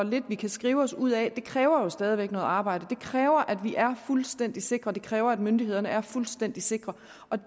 vi kan skrive os ud af kræver jo stadig væk noget arbejde det kræver at vi er fuldstændig sikre det kræver at myndighederne er fuldstændig sikre